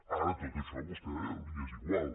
ara tot això a vostè li és igual